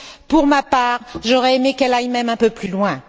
Pour ma part, j'aurais aimé qu'elle aille même un peu plus loin.